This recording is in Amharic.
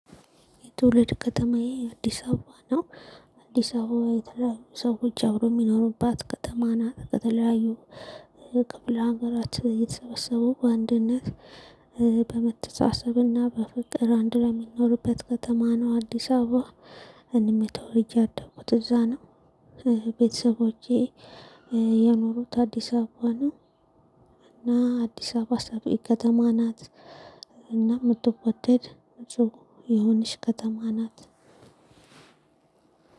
የትውልድ ከተማዬ አዲስ አበባ ነው። አዲስ አበባ የተለያዩ ሰዎች አብሮ የሚኖሩባት ከተማ ናት። ከተለያዩ ክፍለ ሀገራት የተሰበሰቡ በአንድነት በመተሳሰብና በፍቅር አንድ ላይ የሚኖርበት ከተማ ነው። አዲስ አበባ እኔም ተወልጄ ያደኩት እዛ ነው። ቤተሰቦቼ የኖሩት አዲስ አበባ ነው። እና አዲስ አበባ ሰፊ ከተማ ናት። እና የምትወደድ የሆነች ከተማ ናት።